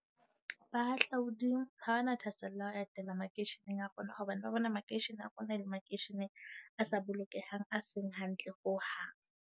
Bahahlaodi ha hona thasello ya ho etela makeisheneng a rona, hobane ba bona makeishene a rona e le makeishene a sa bolokehang, a seng hantle ho hang.